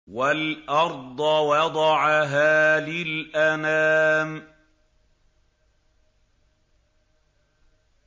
وَالْأَرْضَ وَضَعَهَا لِلْأَنَامِ